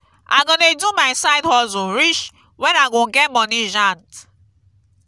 i go dey do my side hustle reach wen i go get money jand.